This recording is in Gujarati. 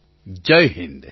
પ્રધાનમંત્રી જય હિન્દ